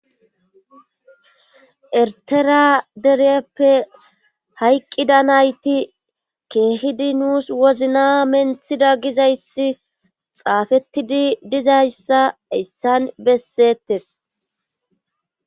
ertera dereppe hayqqida nayti keehidi nuus wozna menthida gizayssi xaafettidi dizayssa issan bessettes